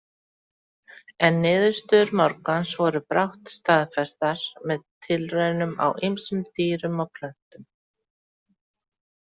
En niðurstöður Morgans voru brátt staðfestar með tilraunum á ýmsum dýrum og plöntum.